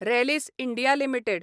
Rallis India limited